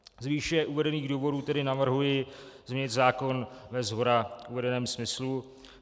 Z výše uvedených důvodů tedy navrhuji změnit zákon ve shora uvedeném smyslu.